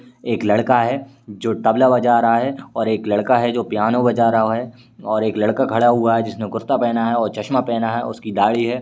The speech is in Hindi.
एक लड़का है जो तबला बजा रहा है और एक लड़का है जो पियानो बजा रहा है और एक लड़का खड़ा हुआ है जिसने कुर्ता पहना है और चश्मा पहना है और उसकी दाढ़ी है।